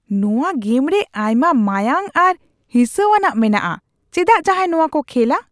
ᱱᱚᱶᱟ ᱜᱮᱢᱨᱮ ᱟᱭᱢᱟ ᱢᱟᱸᱭᱟᱸᱝ ᱟᱨ ᱦᱤᱸᱥᱟᱹᱣᱟᱱᱟᱜ ᱢᱮᱱᱟᱜᱼᱟ ᱾ ᱪᱮᱫᱟᱜ ᱡᱟᱦᱟᱭ ᱱᱚᱣᱟᱠᱚ ᱠᱷᱮᱞᱼᱟ ?